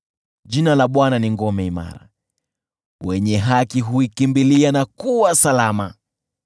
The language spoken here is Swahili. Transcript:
Jina la Bwana ni ngome imara, wenye haki huikimbilia na kuwa salama.